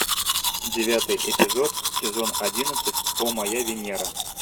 девятый эпизод сезон одиннадцать о моя венера